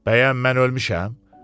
Bəyəm mən ölmüşəm?